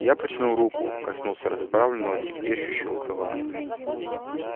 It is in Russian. я протянул руку коснулся расправленного трепещущего крыла